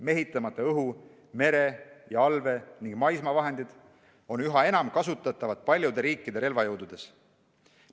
Mehitamata õhu-, mere- ja allvee- ning maismaavahendid on üha enam kasutatavad paljude riikide relvajõududes.